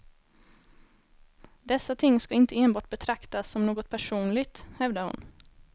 Dessa ting ska inte enbart betraktas som något personligt, hävdar hon.